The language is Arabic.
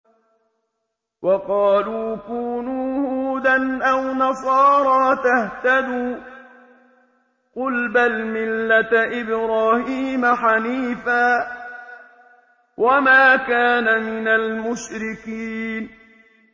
وَقَالُوا كُونُوا هُودًا أَوْ نَصَارَىٰ تَهْتَدُوا ۗ قُلْ بَلْ مِلَّةَ إِبْرَاهِيمَ حَنِيفًا ۖ وَمَا كَانَ مِنَ الْمُشْرِكِينَ